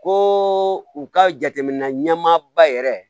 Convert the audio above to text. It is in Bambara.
Ko u ka jateminɛ ɲɛmaaba yɛrɛ